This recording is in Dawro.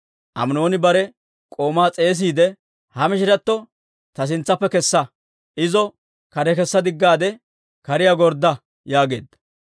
Aminooni bare k'oomaa s'eesiide, «Ha mishiratto ta sintsaappe kessa; izo kare kessa diggaade, kariyaa gordda» yaageedda.